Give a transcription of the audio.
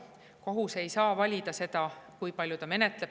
Kohus ei saa valida, kui palju ta menetleb.